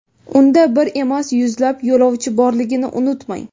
Unda bir emas, yuzlab yo‘lovchi borligini unutmang.